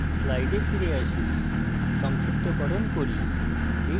slides ফিরে আসি